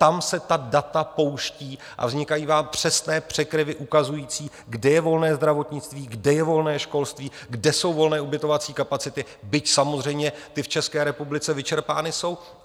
Tam se ta data pouštějí a vznikají vám přesné překryvy ukazující, kde je volné zdravotnictví, kde je volné školství, kde jsou volné ubytovací kapacity, byť samozřejmě ty v České republice vyčerpány jsou.